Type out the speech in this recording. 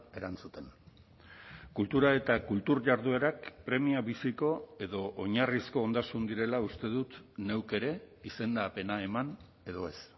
erantzuten kultura eta kultur jarduerak premia biziko edo oinarrizko ondasun direla uste dut neuk ere izendapena eman edo ez